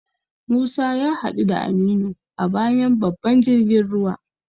Musa ya hadu da Aminu a bayan babban jirgin ruwa.